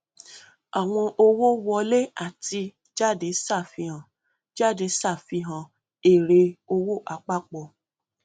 àwọn owó wọlé àti jáde ṣàfihàn jáde ṣàfihàn èrè owó àpapọ